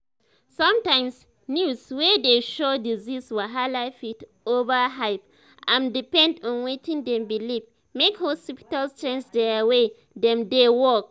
sometimes news wey dey show disease wahala fit overhype am depend on wetin dem believe make hospitals change their way dem dey work.